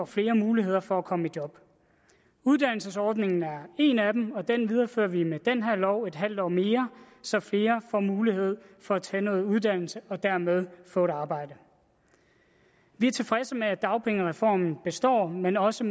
flere muligheder for at komme i job uddannelsesordningen er en af dem og den viderefører vi med den her lov en halv år mere så flere får mulighed for at tage noget uddannelse og dermed få et arbejde vi er tilfredse med at dagpengereformen består men også